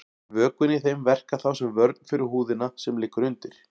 Vökvinn í þeim verkar þá sem vörn fyrir húðina sem liggur undir.